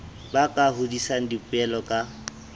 ba ka hodisang dipoelo ka